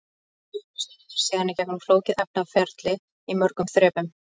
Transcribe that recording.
Upplausnin fer síðan í gegnum flókið efnaferli í mörgum þrepum.